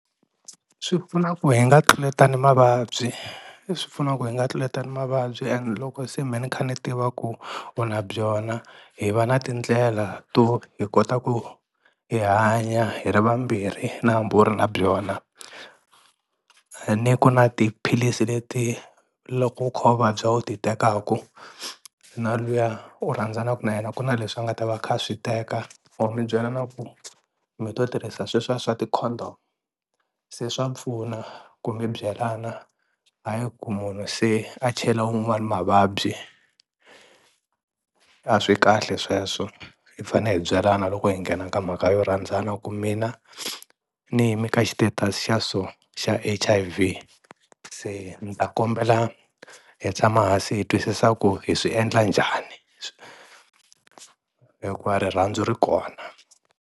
Swi pfuna ku hi nga tluletani mavabyi, leswi pfunaku hi nga tluletani mavabyi and loko se me ni kha ni tiva ku u na byona hi va na tindlela to hi kota ku hi hanya hi ri vambirhi na hambi u ri na byona, a ni ku na tiphilisi leti loko u kha u vabya u ti tekaku na luya u rhandzanaku na yena ku na leswi nga ta va a kha swi teka or mi byela na ku mi to tirhisa sweswiya swa ti-condom. Se swa pfuna ku mi byelana hayi ku munhu se a chela un'wani mavabyi, a swi kahle sweswo hi fane hi byelana loko hi nghena ka mhaka yo rhandzana ku mina ni yimi ka xi status xa so xa H_I_V, se ni ta kombela hi tshama hansi hi twisisa ku hi swi endla njhani hikuva rirhandzu ri kona.